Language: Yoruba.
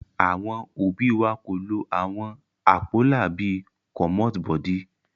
Àwọn òbí wa kò lo àwọn àpólà bí i "commot body"